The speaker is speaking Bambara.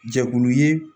Jɛkulu ye